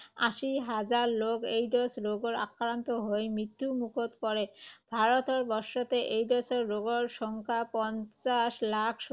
আশী হাজাৰ লোক এইড্‌ছ ৰোগত আক্ৰান্ত হৈ মৃত্যুমুখত পৰে। ভাৰতবৰ্ষতে এইড্‌ছ ৰোগৰ সংখ্য পঞ্চাশ লাখ